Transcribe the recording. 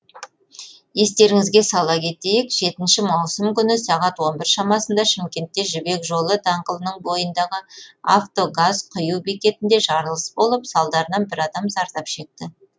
естеріңізге сала кетейік жетінші маусым күні сағат он бір шамасында шымкентте жібек жолы даңғылының бойындағы авто газ құю бекетінде жарылыс болып салдарынан бір адам зардап шекті